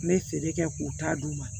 N bɛ feere kɛ k'u ta d'u ma